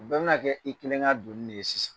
U bɛɛ bɛna kɛ i kelen ka doni de ye sisan.